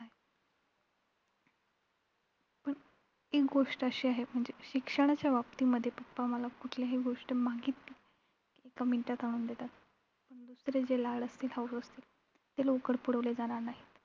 एक गोष्ट अशी आहे म्हणजे शिक्षणाच्या बाबतीतमध्ये papa मला कुठलीही गोष्ट मागितली कि एका minute मध्ये आणून देतात. पण दुसरे जे लाड असतील, हौस असतील ते लवकर पुरवले जाणार नाहीत.